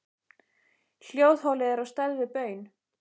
Hljóðholið er á stærð við baun.